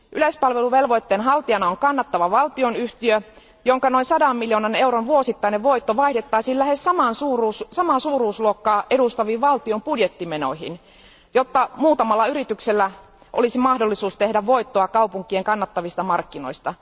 Yleispalveluvelvoitteen haltijana on kannattava valtionyhtiö, jonka noin sadan miljoonan euron vuosittainen voitto vaihdettaisiin lähes saman suurusluokkaa edustaviin valtion budjettimenoihin, jotta muutamalla yrityksellä olisi mahdollisuus tehdä voittoa kaupunkien kannattavista markkinoista.